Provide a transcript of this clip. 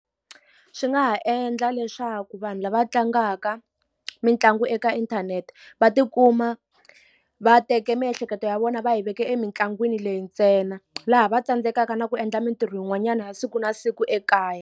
Swi nga ha endla leswaku vanhu lava tlangaka mitlangu eka inthanete, va tikuma va teke miehleketo ya vona va yi veke emitlangwini leyi ntsena. Laha va tsandzekaka na ku endla mintirho yin'wanyana ya siku na siku ekaya.